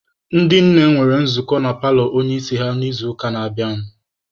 Ndị nne nwere nzukọ na paalọ onye isi ha n'izuụka na-abịanụ.